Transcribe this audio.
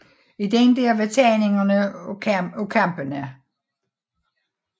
I den der var tegninger af kampene